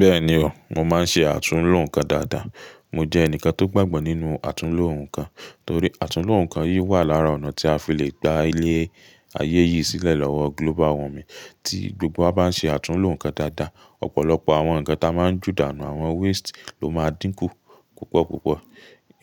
Bẹ́ẹ̀ni o, mo máa ń ṣe àtúnloǹkan dáadáa. Mo jẹ́ ẹnìkan tó gbàgbọ́ nínú àtúnloǹkan torí àtúnloǹkan yìí wà lára ọ̀nà tí a fi le gba ilẹ̀ ayé yìí sílẹ̀ lọ́wọ́ global warming. Tí gbogbo wa bá ń ṣe àtúnloǹkan dáadáa, ọ̀pọ̀lọpọ̀ àwọn ǹkan tí a máa ń ju dànù, àwọn waste ló máa dínkù púpọ̀púpọ̀.